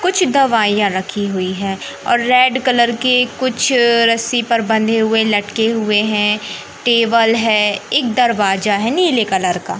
कुछ दवाइयां रखी हुई हैं और रेड कलर के कुछ रस्सी पर बंधे हुए लटके हुए हैं टेबल है एक दरवाजा है नीले कलर का।